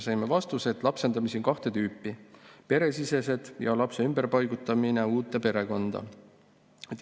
Saime vastuse, et lapsendamisi on kahte tüüpi: peresisene lapsendamine ja lapse ümberpaigutamine uude perekonda.